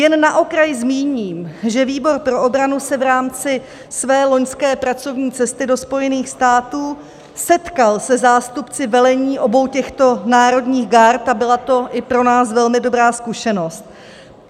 Jen na okraj zmíním, že výbor pro obranu se v rámci své loňské pracovní cesty do Spojených států setkal se zástupci velení obou těchto národních gard a byla to i pro nás velmi dobrá zkušenost.